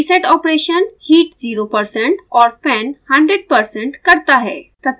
reset operation heat 0% और fan 100% करता है